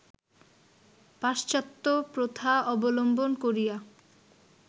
পাশ্চাত্ত্য প্রথা অবলম্বন করিয়া